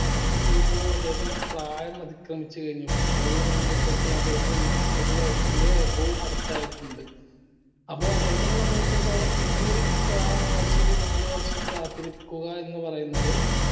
നമുക്ക് ഇപ്പൊ അദ്ദേഹത്തിന്റെ പ്രായം അതിക്രമിച്ചു കഴിഞ്ഞു football ന സംബന്ധിച്ചെടുത്തോളം അദ്ദേഹത്തിന് നാൽപ്പത് വയസ്സിന്റെ above അടിത്തയിട്ടിണ്ട് അപ്പോ അദ്ദേഹത്തിനെ സംബന്ധിച്ചിടത്തോളം ഇനി ഒരു ക വർഷം ഒരു നാല് വർഷം കാത്തിരിക്കുക എന്ന് പറയുന്നത്